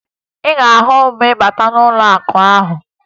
Ị ga-ahụ m ma ị bata n'ụlọakụ ahụ